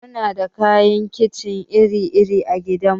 Muna da kayan kicin iri iri a gidan mu.